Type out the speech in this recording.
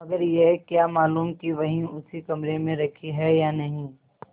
मगर यह क्या मालूम कि वही उसी कमरे में रखी है या नहीं